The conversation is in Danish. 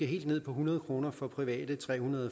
helt ned på hundrede kroner for private og tre hundrede